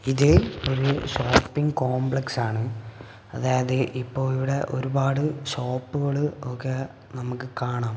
ഇത് ഒരു shopping complex ആണ് അതായത് ഇപ്പോ ഇവിടെ ഒരുപാട് ഷോപ്പുകൾ ഒക്കെ നമുക്ക് കാണാം.